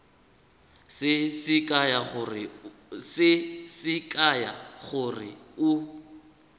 se se kaya gore o